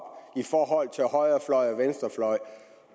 i forhold til højrefløj og venstrefløj